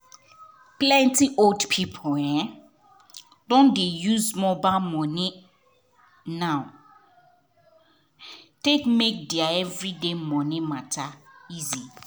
plenty old people [um]don dey use mobile money now take dey make their everyday money matter easy.